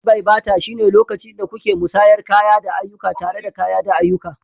Tred-bai-bata shine lokacin da kuke musayar kaya da ayyuka tare da kaya da ayyuka.